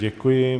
Děkuji.